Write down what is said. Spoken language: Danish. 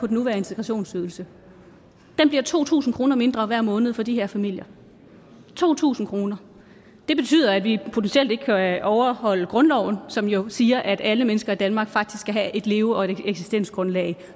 nuværende integrationsydelse den bliver to tusind kroner mindre hver måned for de her familier to tusind kroner det betyder at vi potentielt ikke kan overholde grundloven som jo siger at alle mennesker i danmark faktisk skal have et leve og eksistensgrundlag